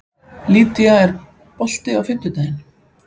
Lýdía, er bolti á fimmtudaginn?